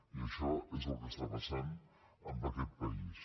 i això és el que està passant en aquest país